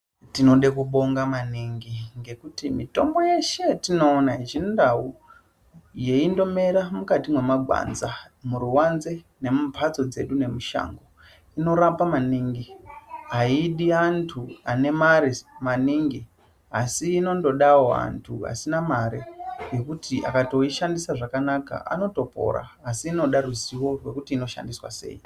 Tinode kubonga maningi ngekuti mitombo yeshe yatinoona yechindau, yeindomera mukati memagwanza, muruwanze, nemumbatso dzedu nemushango. Inorapa maningi ayidi antu ane mare maningi, asi inondodawo antu asina mare ,ngekuti akatoyishandisa zvakanaka anotopora asi inoda ruzivo rwekuti inoshandiswa sei?